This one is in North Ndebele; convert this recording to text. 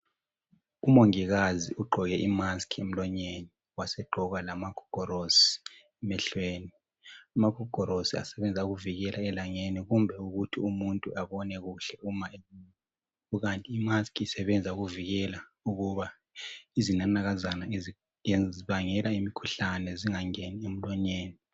Umongikazi ugqoke I mask emulonyeni waseqgoka lama gogorosi emehlweni .Amagogorosi asebenza ukuvikela elangeni kumbe umuntu anyone kuhle .Kukanti I mask isebenza ukuvikela ukuba izinanakazana ezibangela imikhuhlane zingangeni emulonyeni.